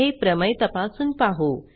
हे प्रमेय तपासून पाहू